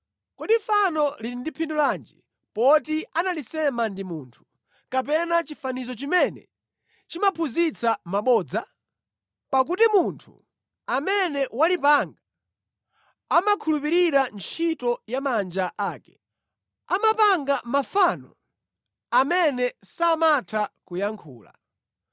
“Kodi fano lili ndi phindu lanji, poti analisema ndi munthu, kapena chifanizo chimene chimaphunzitsa mabodza? Pakuti munthu amene walipanga amakhulupirira ntchito ya manja ake; amapanga mafano amene samatha kuyankhula.